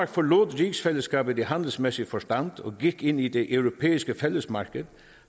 forlod rigsfællesskabet i handelsmæssig forstand og gik ind i det europæiske fællesmarked